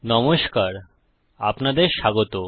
নমস্কার আপনাদের স্বাগত